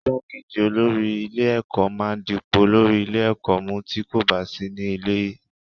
Igbákejì olórí ilé-ẹ̀kọ́ máa ń dipò olórí ilé-ẹ̀kọ́ mú tí kò bá sí ní ilé.